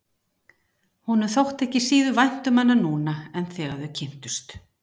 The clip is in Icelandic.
Honum þótti ekki síður vænt um hana núna en þegar þau kynntust.